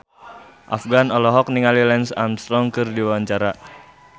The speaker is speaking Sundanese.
Afgan olohok ningali Lance Armstrong keur diwawancara